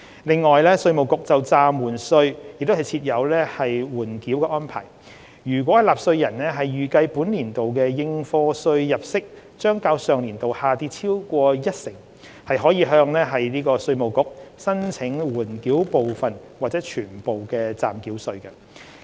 此外，稅務局就暫繳稅亦設有緩繳安排，若納稅人預計本年度的應課稅入息將較上年度下跌超過一成，可向稅務局申請緩繳部分或全數暫繳稅。